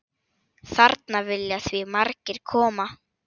Þarna vilja því margir koma.